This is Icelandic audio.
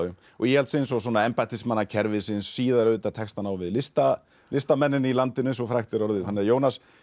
íhaldsins og svona embættismannakerfisins síðar auðvitað tekst hann á við listamennina listamennina í landinu eins og frægt er orðið Jónas